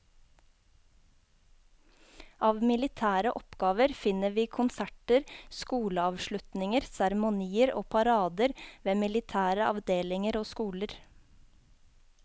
Av militære oppgaver finner vi konserter, skoleavslutninger, seremonier og parader ved militære avdelinger og skoler.